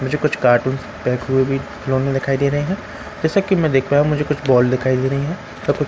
मुझे कुछ cartoons pack हुए भी लॉन में दिखाई दे रहे है जैसा की मैं देख पाया हूँ मुझे कुछ बॉल दिखाई दे रही है और कुछ --